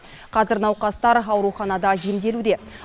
қазір науқастар ауруханада емделуде